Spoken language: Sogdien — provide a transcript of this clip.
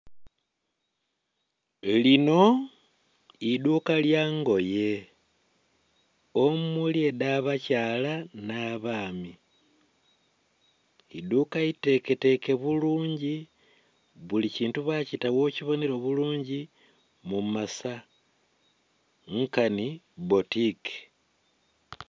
Linho idhuka lya ngoye omuli edha abakyala nha baami idhuka iteketeke bulungi buli kintu bakita gho kibonhera obulungi mu masaa nkanhi botiki.